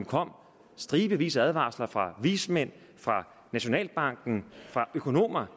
kom stribevis af advarsler fra vismændene nationalbanken og økonomer